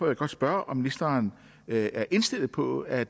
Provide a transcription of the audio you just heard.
jeg godt spørge om ministeren er indstillet på at